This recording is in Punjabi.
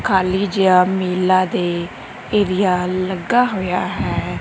ਖਾਲੀ ਜਿਹਾ ਮੇਲਾ ਦੇ ਏਰੀਆ ਲੱਗਾ ਹੋਇਆ ਹੈ।